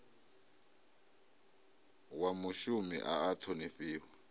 wa mushumi a a ṱhonifhiwa